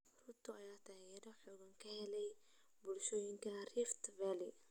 Ruto ayaa taageero xooggan ka helay bulshooyinka Rift Valley.